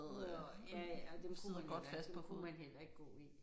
Nåh ja ja og dem kunne man heller ikke dem kunne man heller ikke gå i